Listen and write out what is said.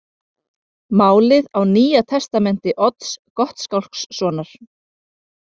Málið á Nýja testamenti Odds Gottskálkssonar.